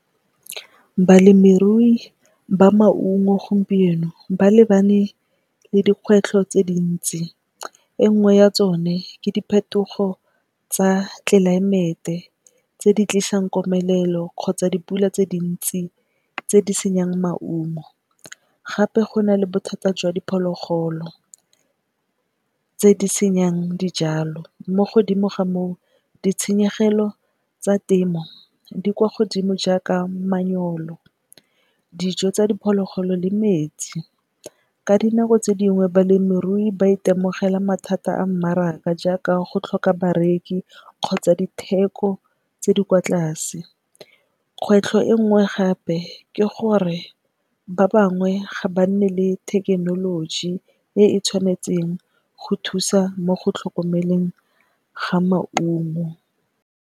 Balemirui ba maungo gompieno ba lebane le dikgwetlho tse dintsi e nngwe ya tsone ke diphetogo tsa tlelaemete tse di tlisang komelelo kgotsa dipula tse dintsi tse di senyang maungo gape go na le bothata jwa diphologolo tse di senyang dijalo, mo godimo ga moo ditshenyegelo tsa temo di kwa godimo jaaka manyoro, dijo tsa diphologolo le metsi. Ka dinako tse dingwe balemirui ba itemogela mathata a mmaraka jaaka, go tlhoka bareki kgotsa ditheko tse di kwa tlase. Kgwetlho e nngwe gape ke gore ba bangwe ga ba nne le thekenoloji e e tshwanetseng go thusa mo go tlhokomeleng ga maungo.